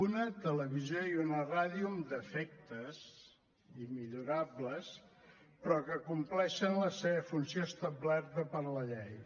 una televisió i una ràdio amb defectes i millorables però que compleixen la seva funció establerta per la llei